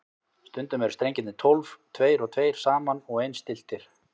Stundum eru strengirnir tólf, tveir og tveir saman og eins stilltir.